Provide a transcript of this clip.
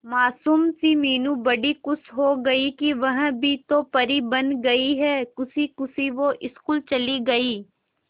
मासूम सी मीनू बड़ी खुश हो गई कि वह भी तो परी बन गई है खुशी खुशी वो स्कूल चली गई